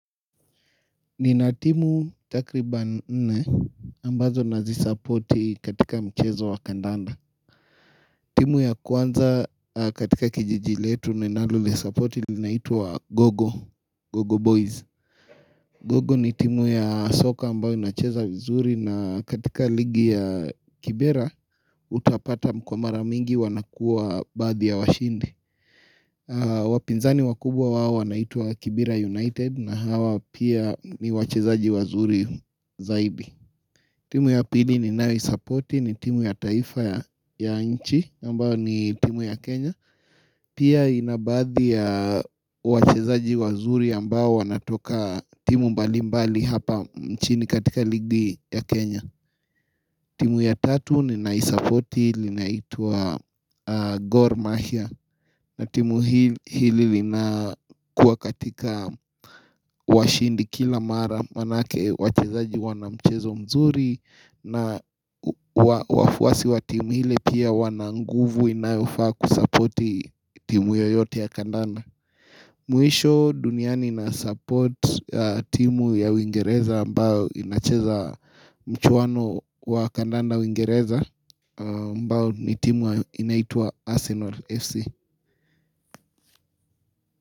Nina timu takriban nne ambazo nazisupporti katika mchezo wa kandanda. Timu ya kwanza katika kijiji letu ninaloli supporti linaitwa Gogo, Gogo Boys. Gogo ni timu ya soka ambayo inacheza vizuri na katika ligi ya Kibera utapata kwa mara mingi wanakuwa baadhi ya washindi. Wapinzani wakubwa wao wanaitwa Kibira United na hawa pia ni wachezaji wazuri zaibi timu ya pili ni nayoisapoti ni timu ya taifa ya nchi ambayo ni timu ya Kenya Pia inabaadhi ya wachezaji wazuri ambao wanatoka timu mbali mbali hapa nchini katika ligi ya Kenya timu ya tatu ninaisapoti linaitwa Gor Mahia na timu hili lina kuwa katika washindi kila mara manake wachezaji wanamchezo mzuri na wafuasi wa timu hili pia wananguvu inayofaa kusapoti timu hiyo yote ya kandanda. Mwisho duniani na support timu ya uwingereza mbao inacheza mchuwano wa kandanda wingereza ambao ni timu inaitwa Arsenal FC.